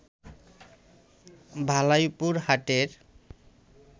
ভালাইপুর হাটের